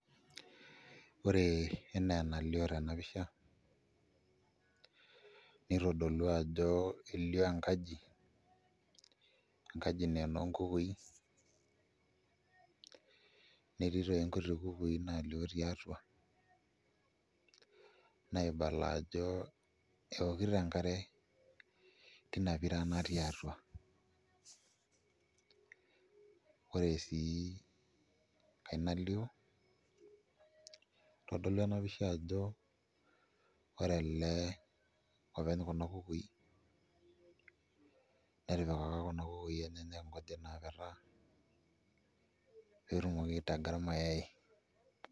Ore enaa enalio tena pisha nitodolua ajo elioo enkaji, enkaji naa enoo nkukui netii toi nkuti kukui naalioo tiatua naibala ajo eokito enkare tina pira natii atua. Ore sii enkae nalioo itodolu ena pisha ajo ore ele openly Kuna kukui netipikaka Kuna kukui enyenak nkujit naapetaa pee etumoki aitaga irmayaai.